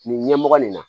Nin ɲɛmɔgɔ nin na